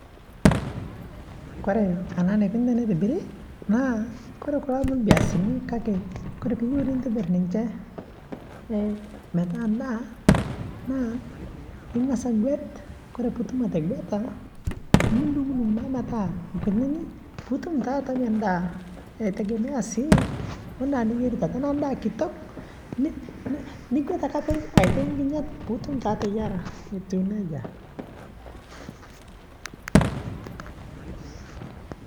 kore anaa neikuni teneitibirii naa kore kuloo amu lbiasini kakee kore piiyeu nintibir ninshee metaa ndaa naa ingaz aguet kore puutum ateguetaa nudungdung naa metaa lkuninii puutum taa atamie ndaa eitegemea sii oo ndaa niyeritaa tanaa ndaa kitok nigwet ake aitai nkinyat puutum ateyaraa etuu nejaa